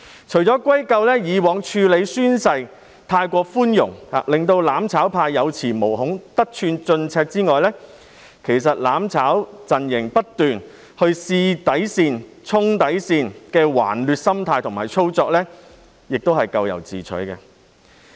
除了歸咎於過往處理宣誓過於寬容致令"攬炒派"有恃無恐、得寸進尺外，"攬炒"陣營不斷試探及衝擊底線，抱持頑劣心態，亦是咎由自取。